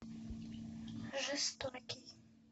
жестокий